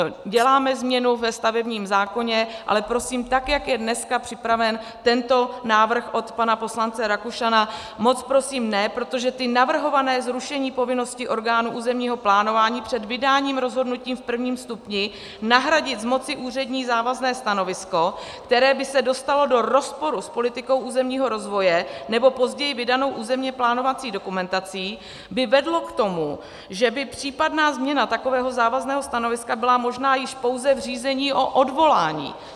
Děláme změnu ve stavebním zákoně, ale prosím, tak jak je dneska připraven tento návrh od pana poslance Rakušana, moc prosím, ne, protože to navrhované zrušení povinnosti orgánů územního plánování před vydáním rozhodnutí v prvním stupni nahradit z moci úřední závazné stanovisko, které by se dostalo do rozporu s politikou územního rozvoje nebo později vydanou územně plánovací dokumentací, by vedlo k tomu, že by případná změna takového závazného stanoviska byla možná již pouze v řízení o odvolání.